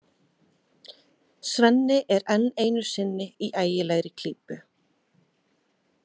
Svenni er enn einu sinni í ægilegri klípu.